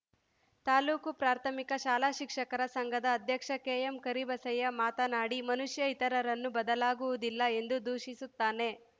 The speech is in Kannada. ತಾಲೂಕು ಪ್ರಾಥಮಿಕ ಶಾಲಾ ಶಿಕ್ಷಕರ ಸಂಘದ ಅಧ್ಯಕ್ಷ ಕೆಎಂ ಕರಿಬಸಯ್ಯ ಮಾತನಾಡಿ ಮನುಷ್ಯ ಇತರರನ್ನು ಬದಲಾಗುವುದಿಲ್ಲ ಎಂದು ದೂಷಿಸುತ್ತಾನೆ